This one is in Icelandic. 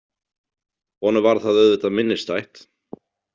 Honum varð það auðvitað minnisstætt.